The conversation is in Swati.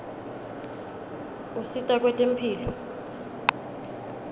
usita kwetemphilo